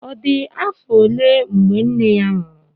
ọ dị afọ ole mgbe nne ya nwụrụ?